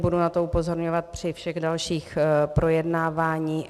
Budu na to upozorňovat při všech dalších projednáváních.